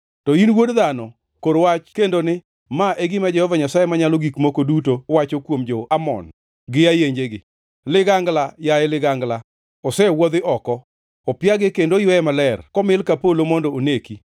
“To in wuod dhano, kor wach kendo ni, ‘Ma e gima Jehova Nyasaye Manyalo Gik Moko Duto wacho kuom jo-Amon gi ayenjegi: “ ‘Ligangla, yaye ligangla, osewuodhi oko, opiage kendo oyweye maler komil ka polo mondo oneki!